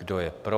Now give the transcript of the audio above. Kdo je pro?